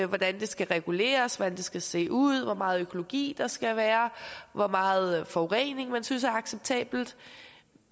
hvordan det skal reguleres hvordan det skal se ud hvor meget økologi der skal være og hvor meget forurening man synes er acceptabelt